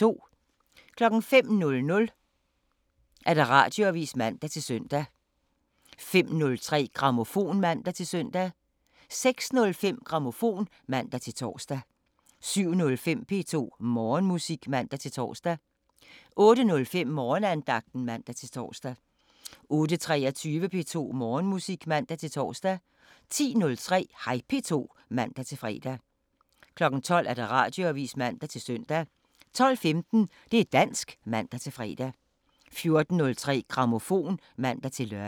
05:00: Radioavisen (man-søn) 05:03: Grammofon (man-søn) 06:05: Grammofon (man-tor) 07:05: P2 Morgenmusik (man-tor) 08:05: Morgenandagten (man-tor) 08:23: P2 Morgenmusik (man-tor) 10:03: Hej P2 (man-fre) 12:00: Radioavisen (man-søn) 12:15: Det' dansk (man-fre) 14:03: Grammofon (man-lør)